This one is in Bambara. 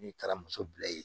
N'i taara muso bila yen